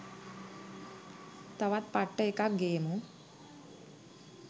තවත් පට්ට එකක් ගේමු.